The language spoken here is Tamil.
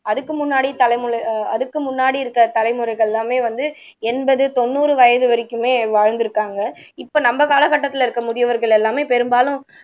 அதுக்கு முன்னாடி தலைமு ஆஹ் அதுக்கு முன்னாடி இருக்கற தலைமுறைகள் எல்லாமே வந்து எண்பது தொண்ணூறு வயது வரைக்குமே வாழ்ந்திருக்காங்க இப்ப நம்ம கால கட்டத்துல இருக்க முதியவர்கள் எல்லாமே பெரும்பாலும்